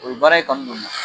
O ye baara in kanu don n na